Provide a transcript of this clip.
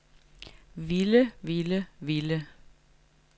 ville ville ville